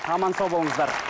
аман сау болыңыздар